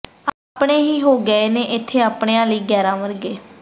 ਆਪਣੇ ਹੀ ਹੋ ਗਏ ਨੇ ਏਥੇ ਆਪਣਿਆਂ ਲਈ ਗ਼ੈਰਾਂ ਵਰਗੇ